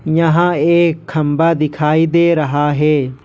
यहां एक खंभा दिखाई दे रहा है।